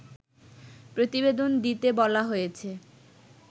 প্রতিবেদন দিতে বলা হয়েছে